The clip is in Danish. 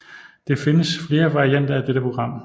Det findes flere varianter af dette program